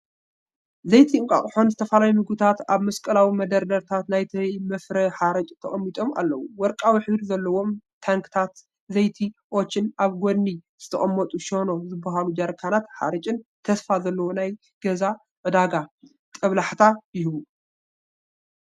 ዘይቲ እንቋቑሖን ዝተፈላለዩ ምግብታትን ኣብ መስቀላዊ መደርደሪታት ናይቲ መፍረ ሓርጭ ተቐሚጦም ኣለዉ። ወርቃዊ ሕብሪ ዘለዎም ታንክታት ዘይቲ ኦቸን ኣብ ጎድኒ ዝተቐመጡ “ሸኖ” ዝበሃሉ ጀርካናት ሓርጭን፡ ተስፋ ዘለዎ ናይ ገዛ ዕዳጋ ጦብላሕታ ይህቡ።